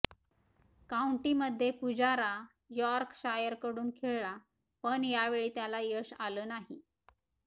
काऊंटीमध्ये पुजारा यॉर्कशायरकडून खेळला पण यावेळी त्याला यश आलं नाही